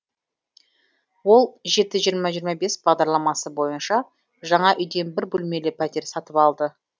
ол жеті жиырма жиырма бес бағдарламасы бойынша жаңа үйден бір бөлмелі пәтер сатып алды